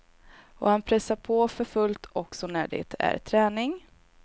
Och han pressar på för fullt också när det är träning.